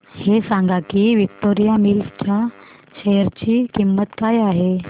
हे सांगा की विक्टोरिया मिल्स च्या शेअर ची किंमत काय आहे